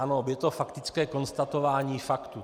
Ano, je to faktické konstatování faktů.